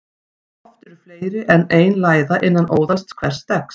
Oft eru fleiri en ein læða innan óðals hvers steggs.